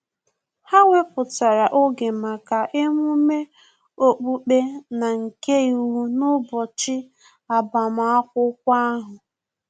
Ha wepụtara oge maka emume okpukpe na-nke iwu n'ụbọchị agbamakwụkwọ ahu